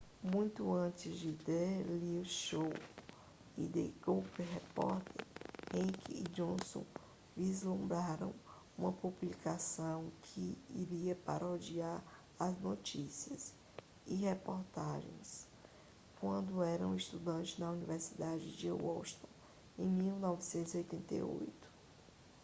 muito antes do the daily show e do the colbert report heck e johnson vislumbraram uma publicação que iria parodiar as notícias e reportagens quando eram estudantes na universidade de washington em 1988